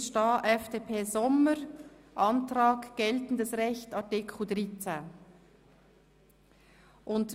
Hier müsste stehen: FDP/Sommer, Antrag geltendes Recht, Artikel 13.